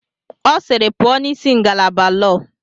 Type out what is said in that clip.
Ọ sịịrị, pụọ n'isi ngalaba lọọ!